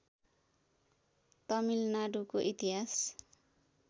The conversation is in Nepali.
तमिलनाडुको इतिहास